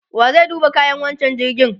wa zai duba kayan wancan jirgin?